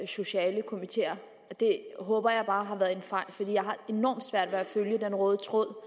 sociale komiteer det håber jeg bare har været en fejl for jeg har enormt svært ved at følge den røde tråd